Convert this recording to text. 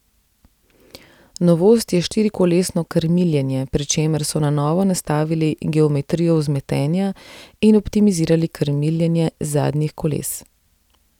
Novost je štirikolesno krmiljenje, pri čemer so na novo nastavili geometrijo vzmetenja in optimizirali krmiljenje zadnjih koles.